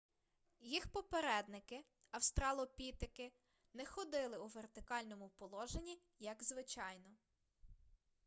їх попередники австралопітеки не ходили у вертикальному положенні як звичайно